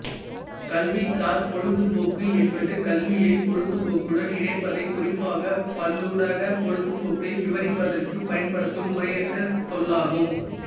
கல்விசார் பொழுதுபோக்கு என்பது கல்வியை பொழுதுபோக்குடன் இணைப்பதை குறிப்பாகப் பல்லூடகப் பொழுதுபோக்கை விவரிப்பதற்குப் பயன்படுத்தும் முறையற்ற சொல்லாகும்